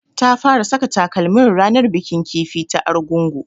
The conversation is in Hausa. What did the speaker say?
Ta fara saka takalmin ranar bikin kifi ta Argungu